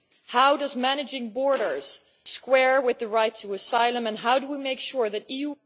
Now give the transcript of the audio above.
How does managing borders square with the right to asylum and how do we make sure that EU